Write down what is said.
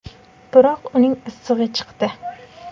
Biroq uning issig‘i chiqdi.